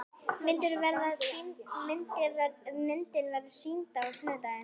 Myndin verður sýnd á sunnudaginn.